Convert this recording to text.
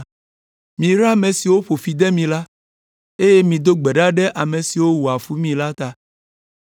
Miyra ame siwo ƒo fi de mi la, eye mido gbe ɖa ɖe ame siwo wɔa fu mi la ta.